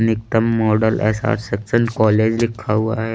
निकतम model college लिखा हुआ है।